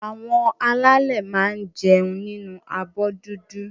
Àwọn alálè máa n jẹun nínu abọ́ dúdú.